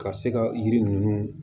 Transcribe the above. Ka se ka yiri ninnu